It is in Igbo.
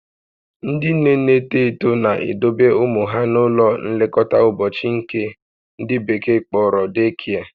Ndị nne na-eto eto na-edobe ụmụ ha n'ụlọ nlekọta ụbọchị nke ndị bekee kpọrọ day care